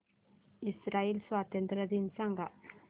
Israel स्वातंत्र्य दिन सांग